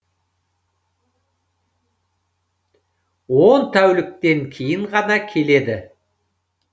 он тәуліктен кейін ғана келеді